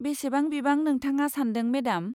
बेसेबां बिबां नोंथाङा सान्दों, मेडाम?